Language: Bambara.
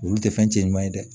Olu tɛ fɛn cɛ ɲuman ye dɛ